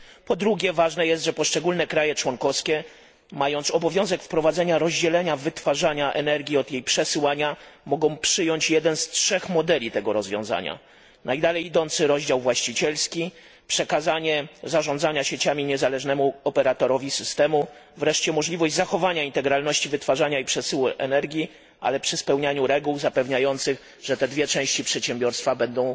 Po drugie, ważne jest, że poszczególne kraje członkowskie, mając obowiązek wprowadzenia rozdzielenia wytwarzania energii od jej przesyłania, mogą przyjąć jeden z trzech modeli tego rozwiązania najdalej idący rozdział właścicielski, przekazanie zarządzania sieciami niezależnemu operatorowi systemu, wreszcie możliwość zachowania integralności wytwarzania i przesyłu energii, ale przy spełnianiu reguł zapewniających, że te dwie części przedsiębiorstwa będą